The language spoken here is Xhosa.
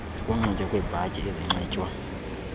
ukunxitywa kweebhatyi ezinxitywa